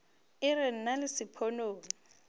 e re nna le sponono